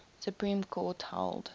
supreme court held